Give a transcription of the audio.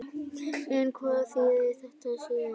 En hvað þýðir þetta síðan?